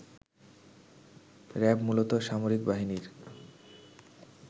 RAB মূলত সামরিক বাহিনীর